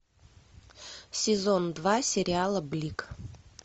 сезон два сериала блик